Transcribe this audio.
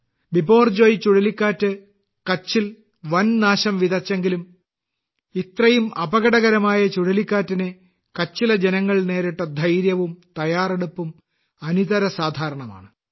ബിപോർജോയ് ചുഴലിക്കാറ്റ് കച്ചിൽ വൻനാശം വിതച്ചെങ്കിലും ഇത്രയും അപകടകരമായ ചുഴലിക്കാറ്റിനെ കച്ചിലെ ജനങ്ങൾ നേരിട്ട ധൈര്യവും തയ്യാറെടുപ്പും അനിതരസാധാരണമാണ്